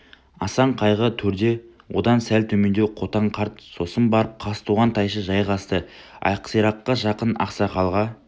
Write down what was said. асан қайғы төрде одан сәл төмендеу қотан қарт сосын барып қазтуған тайшы жайғасты ақсираққа жақын ақсақалға